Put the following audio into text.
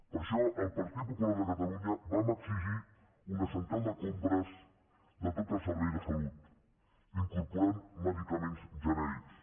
per això el partit popular de catalunya vam exigir una central de compres de tot el servei de salut que incorporés medicaments genèrics